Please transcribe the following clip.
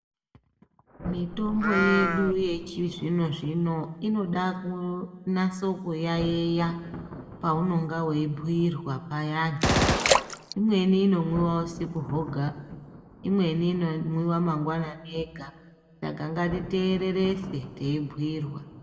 Mitombo yedu yechizvino zvino inoda kunase kuyaiya paunenge weyibhuyirwa payani. Imweni inomwiwa usiku hwega imweni inomwiwa mangwanani ega Saka ngatitererese teyibhuyirwa.